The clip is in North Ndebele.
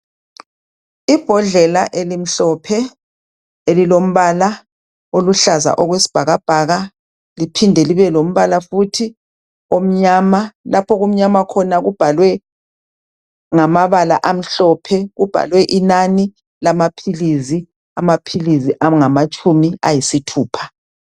Ibhodlela elimhlophe elilombala okwesibhakabhaka liphinde libe lombala futhi omnyama lapha okumnyama khona kubhalwe ngamabala amhlophe kubhalwe inani lamaphilisi, amaphilisi angamatshumi ayisithupha.